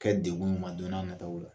Kɛ dekun ɲuman don n'a nataw la.